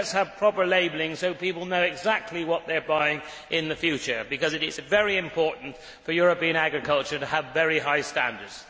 it? So let us have proper labelling so people know exactly what they are buying in the future, because it is very important for European agriculture to have very high standards.